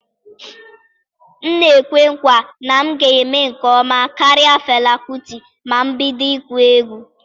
M na-ekwe nkwa na m ga-eme nke ọma karịa Fela Kuti ma m bido ịkụ egwu.